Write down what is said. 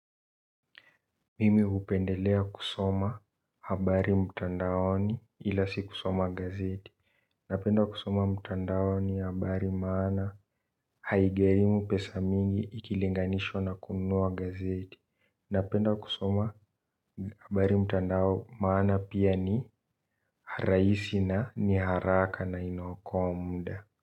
Mimi hupendelea kusoma habari mtandaoni ila si kusoma gazeti. Napenda kusoma mtandaoni habari maana haigharimu pesa mingi ikilinganishwa na kununua gazeti. Napenda kusoma habari mtandao maana pia ni rahisi na ni haraka na ina okoa muda.